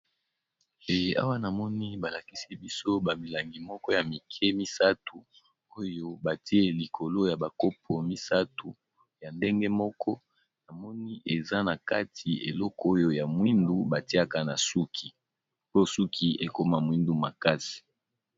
Eh awa namoni balakisi biso ba milangi moko ya mike misato oyo batie likolo ya bakopo misato ya ndenge moko namoni eza na kati eloko oyo ya mwindu batiaka na suki po suki ekoma mwindu makasi.